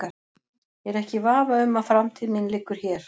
Ég er ekki í vafa um að framtíð mín liggur hér.